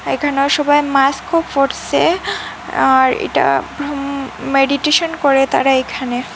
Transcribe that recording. এখানে সবাই মাস্কও পরসে আর এটা হুম মেডিটেশন করে তারা এখানে।